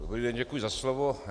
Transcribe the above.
Dobrý den, děkuji za slovo.